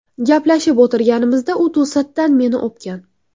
Gaplashib o‘tirganimizda u to‘satdan meni o‘pgan.